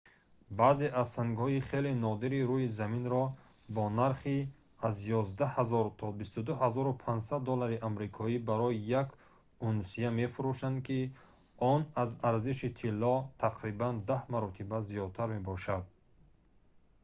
баъзе аз сангҳои хеле нодири рӯи заминро бо нархи аз 11000 то 22500 доллари амрикоӣ барои як унсия мефурӯшанд ки он аз арзиши тилло тақрибан даҳ маротиба зиёдтар мебошад